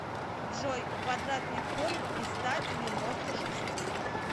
джой квадратный корень из ста девяноста шести